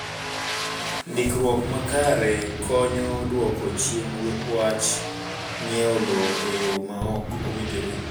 Ndikruok makare konyo e dwoko chien wach ng'iewo lowo e yo ma ok owinjore.